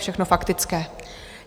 Všechno faktické.